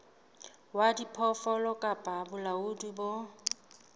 wa diphoofolo kapa bolaodi bo